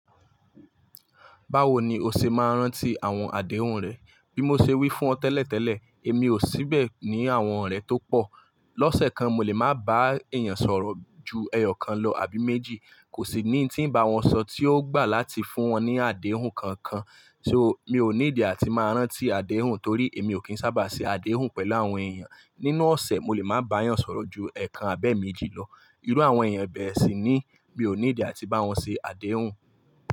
Báwo ni o ṣe máa ń rántí àwọn àdéhùn rẹ? Bí mo ṣe wí fún ọ tẹ́lẹ̀tẹ́lẹ̀, èmi ò síbẹ̀ ní àwọn orẹ̀ tó pọ̀. Lọ́sẹ̀ kan mo lè máa bá èèyàn sọ̀rọ̀ ju ẹyọ̀kan lọ àbí méjì, kò sí ni tí ń bá wọn sọ tí ó gbà láti fún wọn ní àdéhùn kankan. So mi ò ní need àti máa rántí àdéhùn torí èmi ò kí ń sábà ṣe àdéhùn pẹ̀lú àwọn èèyàn. Nínú ọ̀sẹ̀, mo lè máa bá èèyàn sọ̀rọ̀ ju ẹẹkan àbẹ́ méjì lọ. Irú àwọn èèyàn bẹ́ẹ̀ sì ni mi ò need àti bá wọn ṣe àdéhùn.